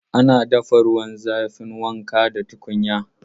Ana dafa ruwan zafin wanka da tukunya.